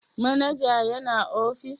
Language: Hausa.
Manaja yana ofis?